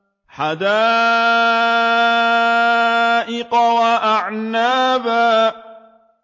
حَدَائِقَ وَأَعْنَابًا